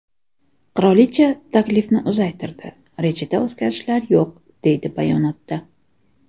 Qirolicha taklifni uzaytirdi, rejada o‘zgarishlar yo‘q”, deyiladi bayonotda.